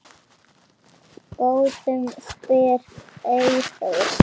Góðum? spyr Eyþór.